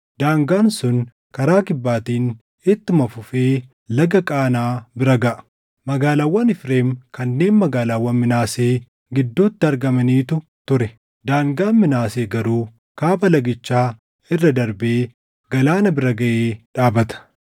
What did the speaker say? Daangaan sun karaa kibbaatiin ittuma fufee Laga Qaanaa bira gaʼa. Magaalaawwan Efreem kanneen magaalaawwan Minaasee gidduutti argamanitu ture; daangaan Minaasee garuu Kaaba lagichaa irra darbee galaana bira gaʼee dhaabata.